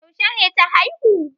Yaushe ne ta haihu?